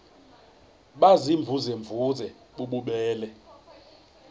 baziimvuze mvuze bububele